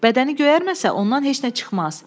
Bədəni göyərməsə ondan heç nə çıxmaz.